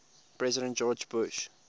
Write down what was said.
president george bush